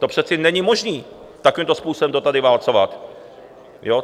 To přece není možné takovýmto způsobem to tady válcovat.